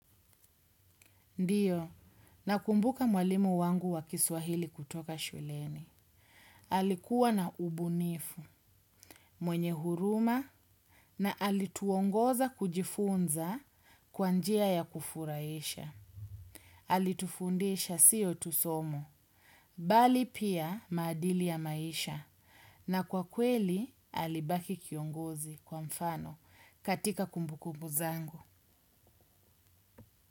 Ndio, nakumbuka mwalimu wangu wa Kiswahili kutoka shuleni. Alikuwa na ubunifu, mwenye huruma, na alituongoza kujifunza kwa njia ya kufurahisha. Alitufundisha sio tu somo, bali pia maadili ya maisha, na kwa kweli alibaki kiongozi wa mfano katika kumbukumbu zangu.